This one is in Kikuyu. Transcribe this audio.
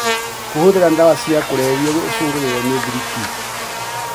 Kũhũthĩra dawa cia kũrebia ũcũngagĩrĩrio nĩ thiriti